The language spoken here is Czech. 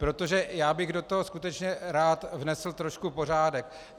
Protože já bych do toho skutečně rád vnesl trošku pořádek.